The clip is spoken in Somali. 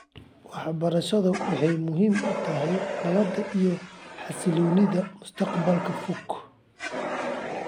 Waxbarashadu waxay muhiim u tahay nabadda iyo xasilloonida mustaqbalka fog .